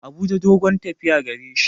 Abuja dogon tafiya gareshi.